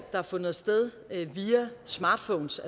har fundet sted via smartphones